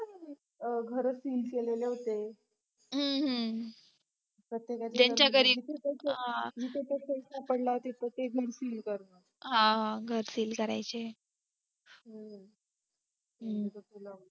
घरं seal केलेले होते सापडला तिथे ते seal करणार हा घर seal करायचे